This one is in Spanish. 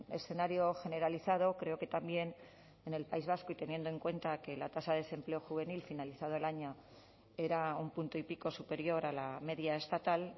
escenario generalizado creo que también en el país vasco y teniendo en cuenta que la tasa de desempleo juvenil finalizado el año era un punto y pico superior a la media estatal